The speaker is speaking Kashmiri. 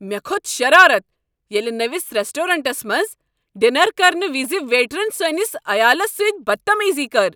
مےٚ کھوٚت شرارت ییٚلہ نٔوس ریسٹورانٹس منز ڈنر کرن وز ویٹرن سٲنس عیالس سۭتۍ بدتمیزی کٔر۔